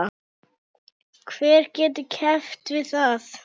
Hver getur keppt við það?